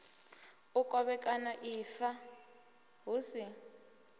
u kovhekana ifa hu si